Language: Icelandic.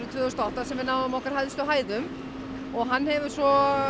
tvö þúsund og átta þegar við náðum okkar hæstu hæðum og hann hefur svo